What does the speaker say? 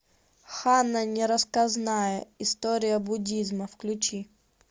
ханна нерассказанная история буддизма включи